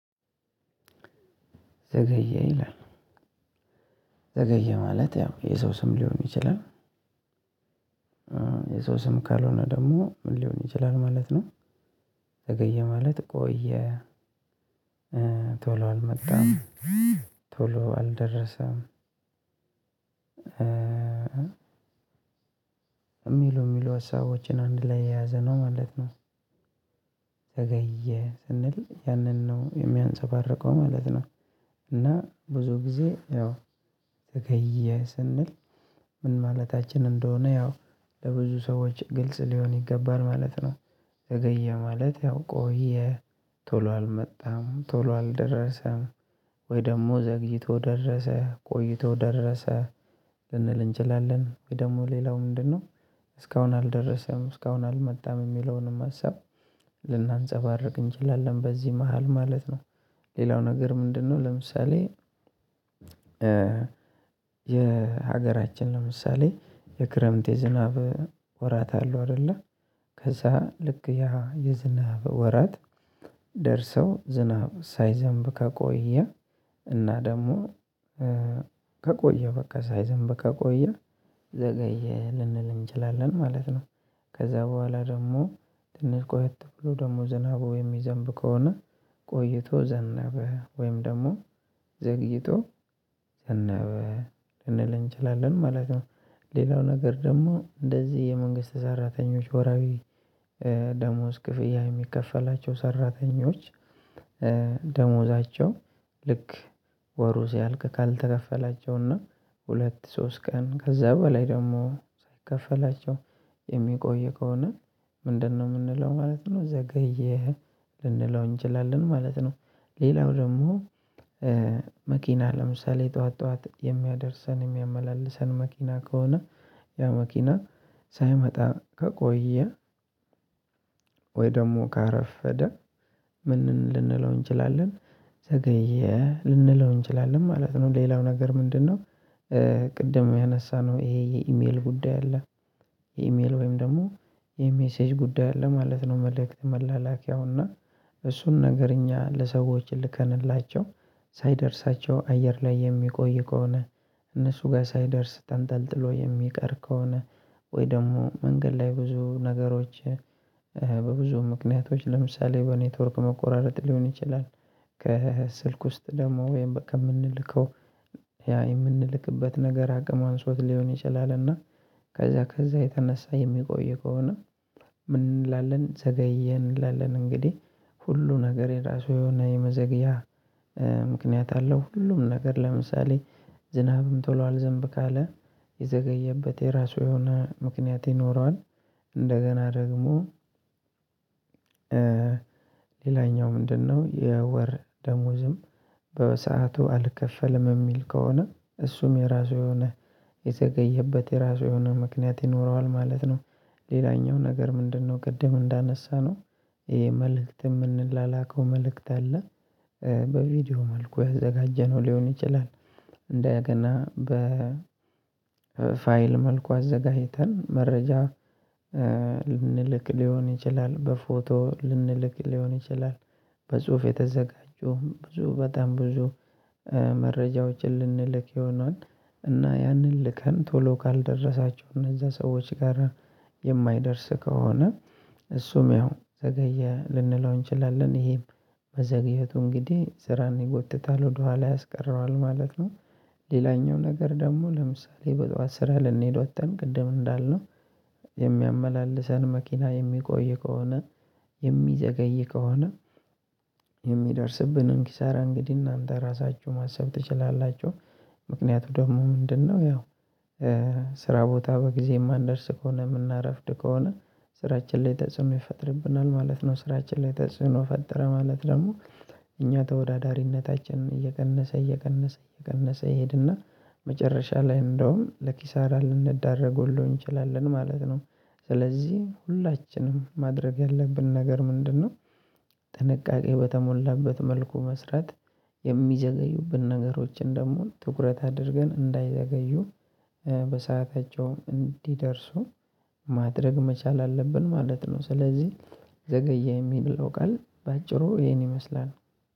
ዘገየ ይላል ዘገየ ማለት ያው የሰው ስም ሊሆን ይችላል። የሰው ስም ካልሆነ ደግሞ ምን ሊሆን ይችላል ማለት ነው? ዘገየ ማለት ቆየ ቶሎ አልመጣም ቶሎ አልደረሰም። የሚሉ የሚሉ ሀሳቦችን አንድ ላይ የያዘ ነው ማለት ነው። ዘገየ ስንል ያንን ነው የሚያንፀባርቀው ማለት ነው። እና ብዙ ጊዜ ያው ዘገየ ስንል ምን ማለታችን እንደሆነ ያው ለብዙ ሰዎች ግልጽ ሊሆን ይገባል ማለት ነው። ዘገየ ማለት ያው ቆየ ቶሎ አልመጣም ቶሎ አልደረሰም። ወይ ደግሞ ዘግይቶ ደረሰ ቆይቶ ደረሰ ልንል እንችላለን ወይ ደግሞ ሌላው ምንድነው? እስካሁን አልደረሰም እስካሁን አልመጣም የሚለውንም ሀሳብ ልናንፀባርቅ እንችላለን በዚህ መሃል ማለት ነው። ሌላው ነገር ምንድነው? ለምሳሌ የሀገራችን ለምሳሌ የክረምት የዝናብ ወራት አለው አይደለ? ከዛ ልክ ያ የዝናብ ወራት ደርሰው ዝናብ ሳይዘንብ ከቆየ እና ደግሞ ከቆየ በቃ ሳይዘንብ ከቆየ ዘገየ ልንል እንችላለን ማለት ነው። ከዛ በኋላ ደግሞ ትንሽ ቆየት ብሎ ደግሞ ዝናቡ የሚዘንብ ከሆነ ቆይቶ ዘነበ ወይም ደግሞ ዘግይቶ ዘነበ ልንል እንችላለን ማለት ነው። ሌላው ነገር ደግሞ እንደዚህ የመንግስት ሰራተኞች ወርሃዊ ደሞዝ ክፍያ የሚከፈላቸው ሰራተኞች ደሞዛቸው ልክ ወሩ ሲያልቅ ካልተከፈላቸውና ሁለት ሶስት ቀን ከዛ በላይ ደግሞ ሳይከፈላቸው የሚቆይ ከሆነ? ምንድነው የምንለው ማለት ነው ዘገየ ልንለው እንችላለን ማለት ነው። ሌላው ደግሞ መኪና ለምሳሌ ጠዋት ጠዋት የሚያደርሰን የሚያመላልሰን መኪና ከሆነ ያ መኪና ሳይመጣ ከቆየ። ወይ ደግሞ ካረፈደ ምንን ልንለው እንችላለን? ዘገየ ልንለው እንችላለን ማለት ነው ሌላው ነገር ምንድነው? ቅድም ያነሳነው ይሄ የኢሜል ጉዳይ አለ። የኢሜል ወይም ደግሞ የሜሴጅ ጉዳይ አለ ማለት ነው መልክት መላላኪያው እና እሱን ነገር እኛ ለሰዎች ልከንላቸው ሳይደርሳቸው አየር ላይ የሚቆይ ከሆነ። እነሱ ጋር ሳይደርስ ተንጠልጥሎ የሚቀር ከሆነ ወይ ደግሞ መንገድ ላይ ብዙ ነገሮች። በብዙ ምክንያቶች ለምሳሌ በኔትወርክ መቆራረጥ ሊሆን ይችላል። ከ ስልክ ውስጥ ደግሞ ወይም በቃ የምንልከው ያ የምንልክበት ነገር አቅም አንሶት ሊሆን ይችላል እና ከዛ ከዛ የተነሳ የሚቆይ ከሆነ። ምን እንላለን ዘገየ እንላለን። እንግዲህ ሁሉ ነገር የራሱ የሆነ የመዘግያ ምክንያት አለው። ሁሉም ነገር ለምሳሌ ዝናብም ቶሎ አልዘንብ ካለ የዘገየበት የራሱ የሆነ ምክንያት ይኖረዋል። እንደገና ደግሞ ሌላኛው ምንድነው? የወር ደሞዝም በሰአቱ አልከፈልም የሚል ከሆነ እሱም የራሱ የሆነ የዘገየበት የራሱ የሆነ ምክንያት ይኖረዋል ማለት ነው። ሌላኛው ነገር ምንድነው? ቅድም እንዳነሳነው ይሄ መልእክት የምንላላከው መልእክት አለ። በቪዲዮ መልኩ ያዘጋጀነው ሊሆን ይችላል። እንደገና በ ፋይል መልኩ አዘጋጅተን መረጃ ልንልክ ሊሆን ይችላል በፎቶ ልንልክ ሊሆን ይችላል። በጽሁፍ የተዘጋጁ ብዙ በጣም ብዙ መረጃዎችን ልንልክ ይሆናል። እና ያንን ልከን ቶሎ ካልደረሳቸው እነዛ ሰዎች ጋራ የማይደርስ ከሆነ። እሱም ያው ዘገየ ልንለው እንችላለን ይሄም። መዘግየቱ እንግዲህ ስራን ይጎትታል ወደኋላ ያስቀረዋል ማለት ነው። ሌላኛው ነገር ደግሞ ለምሳሌ በጧት ስራ ልንሄድ ወጥተን ቅድም እንዳልነው የሚያመላልሰን መኪና የሚቆይ ከሆነ። የሚዘገይ ከሆነ። የሚደርስብንን ኪሳራ እንግዲህ እናንተ ራሳችሁ ማሰብ ትችላላችሁ ምክንያቱ ደግሞ ምንድነው? ያው ስራ ቦታ በጊዜ የማንደርስ ከሆነ የምናረፍድ ከሆነ ስራችን ላይ ተጽዕኖ ይፈጥርብናል ማለት ነው። ስራችን ላይ ተጽዕኖ ፈጠረ ማለት ደግሞ እኛ ተወዳዳሪነታችንን እየቀነሰ እየቀነሰ እየቀነሰ ይሄድና መጨረሻ ላይ እንደውም ለኪሳራ ልንደረግ ሁሉ እንችላለን ማለት ነው። ስለዚህ ሁላችንም ማድረግ ያለብን ነገር ምንድነው? ጥንቃቄ በተሞላበት መልኩ መስራት። የሚዘገዩብን ነገሮችን ደግሞ ትኩረት አድርገን እንዳይዘገዩ። በሰአታቸውም እንዲደርሱ ማድረግ መቻል አለብን ማለት ነው። ስለዚህ ዘገየ የሚለው ቃል በአጭሩ ይሄን ይመስላል።